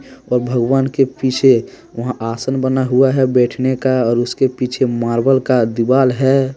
और भगवान के पीछे वहां आसन बना हुआ है बैठने का और उसके पीछे मार्बल का दीवाल है।